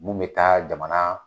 Mun bɛ taa jamana